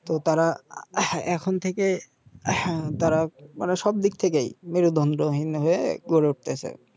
তো তারা এখন থেকে তারা মানে সব দিক থেকেই মেরুদণ্ডহীন হয়ে গড়ে উঠতেসে